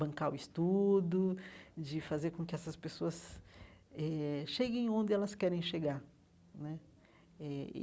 Bancar o estudo, de fazer com que essas pessoas eh cheguem onde elas querem chegar né eh e.